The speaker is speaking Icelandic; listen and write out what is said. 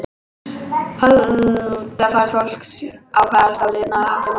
Holdafar fólks ákvarðast af lifnaðarháttum og erfðum.